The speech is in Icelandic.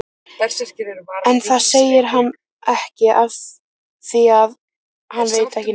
En það segir hann ekki afþvíað hann veit ekki neitt.